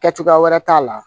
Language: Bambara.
Kɛ cogoya wɛrɛ t'a la